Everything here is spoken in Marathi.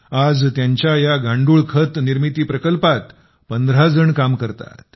आज त्यांच्या या गांडूळ खत निर्मिती प्रकल्पात 15 जण काम करतात